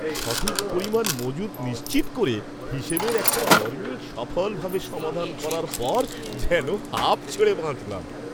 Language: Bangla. সঠিক পরিমাণ মজুত নিশ্চিত করে, হিসেবের একটা গরমিল সফলভাবে সমাধান করার পর যেন হাঁফ ছেড়ে বাঁচলাম।